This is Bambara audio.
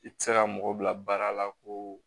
I tɛ se ka mɔgɔ bila baara la ko